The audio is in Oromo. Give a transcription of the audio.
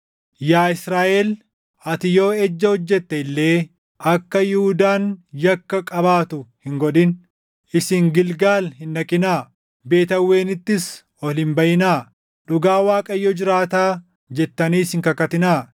“Yaa Israaʼel, ati yoo ejja hojjette illee akka Yihuudaan yakka qabaatu hin godhin. “Isin Gilgaal hin dhaqinaa; Beet Aawwenittis ol hin baʼinaa. ‘Dhugaa Waaqayyo jiraataa!’ jettaniis hin kakatinaa.